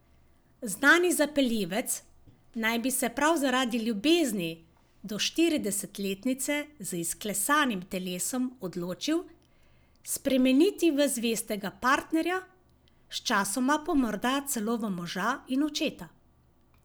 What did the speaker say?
Znani zapeljivec naj bi se prav zaradi ljubezni do štiridesetletnice z izklesanim telesom odločil spremeniti v zvestega partnerja, sčasoma pa morda celo v moža in očeta.